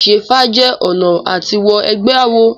Ìṣẹ́fá jẹ ọ̀nà à ti wọ ẹgbẹ́ àwọn.